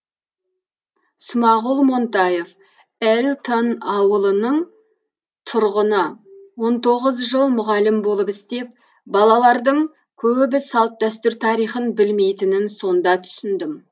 смағұл монтаев эльтон ауылының тұрғыны он тоғыз жыл мұғалім болып істеп балалардың көбі салт дәстүр тарихын білмейтінін сонда түсіндім